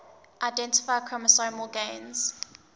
identify chromosomal gains